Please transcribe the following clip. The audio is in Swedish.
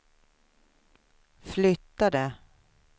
flyttade